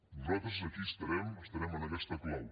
nosaltres aquí estarem estarem en aquesta clau